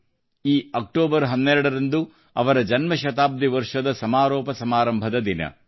ಈ 12ನೇ ಅಕ್ಟೋಬರ್ ಅವರ ಜನ್ಮಶತಾಬ್ದಿ ವರ್ಷದ ಸಮಾರೋಪ ಸಮಾರಂಭದ ದಿನ